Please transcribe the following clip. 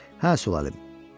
Hə, sülalım.